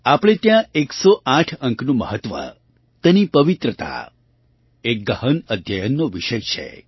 આપણે ત્યાં 108 અંકનું મહત્ત્વ તેની પવિત્રતા એક ગહન અધ્યયનનો વિષય છે